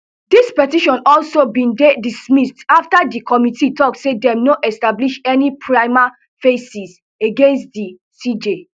dis petition also bin dey dismissed afta di committee tok say dem no establish any prima facie against di cj